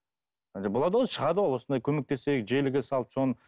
ы болады ғой шығады ғой осындай көмектесейік желіге салып соны